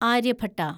Aryabhata